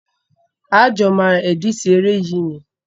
A jọ máa ẹ̀dítì eré yìí ni.